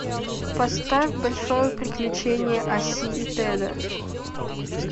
поставь большое приключение осси и теда